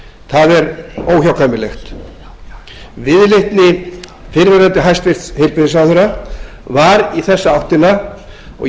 það er óhjákvæmilegt viðleitni fyrrverandi hæstvirtum heilbrigðisráðherra var í þessa áttina og